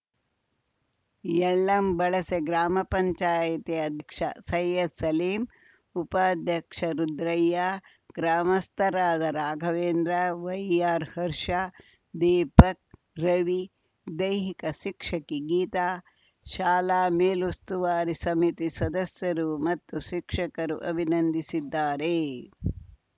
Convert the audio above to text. ಯಳ್ಳಂಬಳಸೆ ಗ್ರಾಮ ಪಂಚಾಯಿತಿ ಅಧ್ಯಕ್ಷ ಸೈಯ್ಯದ್‌ ಸಲೀಂ ಉಪಾಧ್ಯಕ್ಷ ರುದ್ರಯ್ಯ ಗ್ರಾಮಸ್ಥರಾದ ರಾಘವೇಂದ್ರ ವೈಆರ್‌ ಹರ್ಷ ದೀಪಕ್‌ ರವಿ ದೈಹಿಕ ಶಿಕ್ಷಕಿ ಗೀತಾ ಶಾಲಾ ಮೇಲುಸ್ತುವಾರಿ ಸಮಿತಿ ಸದಸ್ಯರು ಮತ್ತು ಶಿಕ್ಷಕರು ಅಭಿನಂದಿಸಿದ್ದಾರೆ